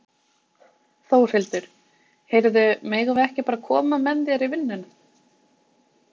Þórhildur: Heyrðu, megum við ekki bara koma með þér í vinnuna?